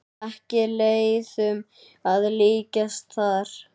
Ekki leiðum að líkjast þar.